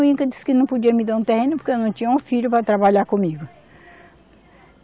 O Inca disse que não podia me dar um terreno porque eu não tinha um filho para trabalhar comigo.